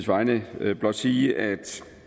vegne blot sige at